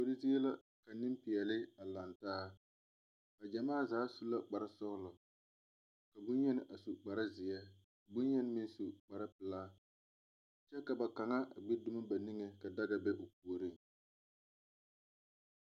Kuori zie la ka niŋpeɛli a langtaa ba gyamaa zaa su la kparisɔglo ka bonyeni a su kparizeɛ bonyeni meŋ su kparipilaa kyɛ ka ba kaŋa gbi dumo ba nigeŋ ka daga be o pooriŋ